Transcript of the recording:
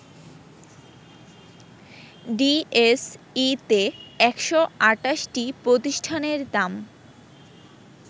ডিএসইতে ১২৮টি প্রতিষ্ঠানের দাম